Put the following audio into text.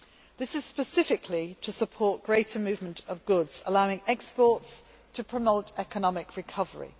This is specifically to support greater movement of goods, allowing exports to promote economic recovery.